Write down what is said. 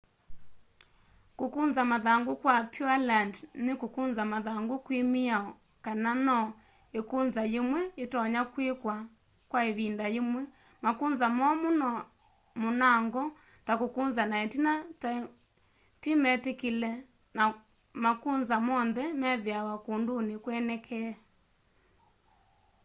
kukunza mathangu kwa pureland ni kukunza mathangu kwi miao kana no ikunza yimwe yitonya kwikwa kwa ivinda yimwe makunza momu munango ta kukunza na itina timetikile na makunza monthe methiawa kunduni kwenekee